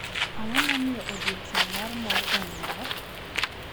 Ang’o momiyo odiochieng’ mar mor en mor?